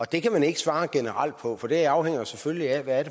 det kan man ikke svare generelt på for det afhænger selvfølgelig af hvad